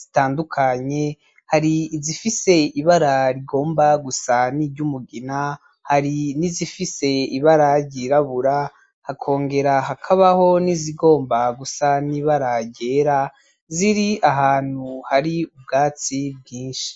zitandukanye, hari izifise ibara rigomba gusa n'iry'umugina, hari n'izifise ibara ryirabura, hakongera hakabaho n'izigomba gusa n'ibara ryera ziri ahantu hari ubwatsi bwinshi.